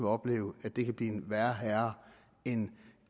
opleve at det kan blive en værre herre end